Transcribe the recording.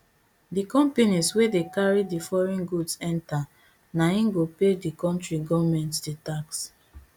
di companies wey dey carry di foreign goods enta na im go pay di kontri goment di tax